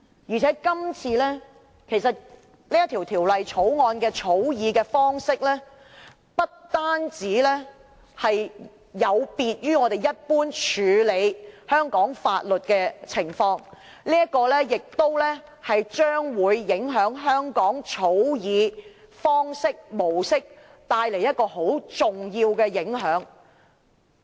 再者，這項《條例草案》的草擬方式，不但有別於我們一般制定香港法律的做法，亦會影響香港日後草擬法案的方式及模式，帶來很重要的影響。